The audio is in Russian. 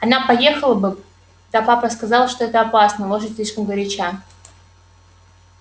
она поехала бы да папа сказал что это опасно лошадь слишком горяча